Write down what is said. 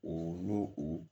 O n'o o